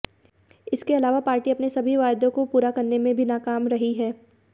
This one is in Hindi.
इसके अलावा पार्टी अपने सभी वायदों को पूरा करने में भी नाकाम रही है